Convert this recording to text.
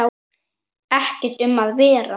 Ekkert um að vera.